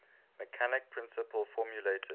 mechanical principle formulated